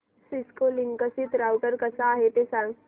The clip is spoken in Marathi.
सिस्को लिंकसिस राउटर कसा आहे ते सांग